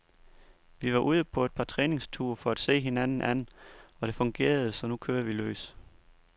Vi var ude på et par træningsture, for at se hinanden an, og det fungerede, så nu kører vi løs.